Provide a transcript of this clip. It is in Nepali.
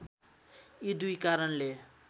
यी दुई कारणले